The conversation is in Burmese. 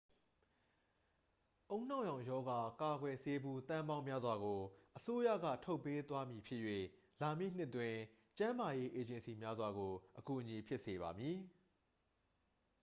ဦးနှောက်ရောင်ရောဂါ ကာကွယ်ဆေးဘူး သန်းပေါင်းများစွာကို အစိုးရက ထုတ်ပေးသွားဖြစ်မည်၍ လာမည့်နှစ်အတွက် ကျန်းမာရေးအေဂျင်စီများစွာကို အကူအညီဖြစ်စေပါမည်